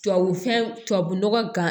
Tubabu fɛn tubabu nɔgɔ gan